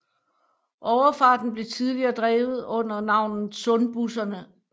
Overfarten blev tidligere drevet under navnet Sundbusserne